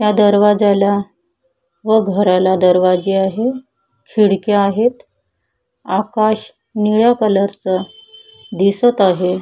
ह्या दरवाजाला व घराला दरवाजे आहे खिडक्या आहेत आकाश निळ्या कलरच दिसत आहे.